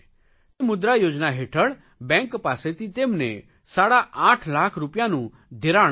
મુદ્રા યોજના હેઠળ બેંક પાસેથી તેમને સાડા આઠ લાખ રૂપિયાનું ધિરાણ મળ્યું